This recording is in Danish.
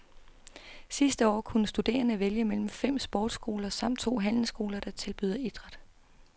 Sidste år kunne studerende vælge mellem fem sportsskoler samt to handelsskoler, der tilbyder idræt.